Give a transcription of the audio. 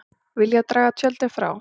Vilja draga tjöldin frá